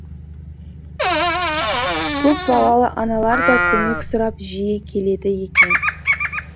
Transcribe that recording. көпбалалы аналар да көмек сұрап жиі келеді екен